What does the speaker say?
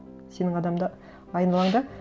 сенің айналаңда